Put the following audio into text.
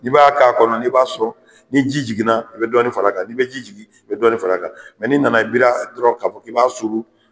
Ni b'a k'a kɔnɔ n'i b'a sɔn ni ji jiginna i bɛ dɔnnin far'a kan , ni bɛ ji jigin i bɛ dɔɔnin far'a kan mɛ n'i i nana biri a dɔrɔn k'a fɔ i b'a suuru